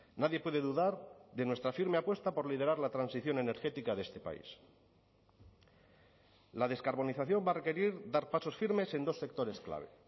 nadie puede dudar de nuestra firme apuesta por liderar la transición energética de este país la descarbonización va a requerir dar pasos firmes en dos sectores clave